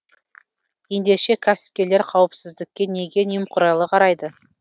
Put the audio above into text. ендеше кәсіпкерлер қауіпсіздікке неге немқұрайлы қарайды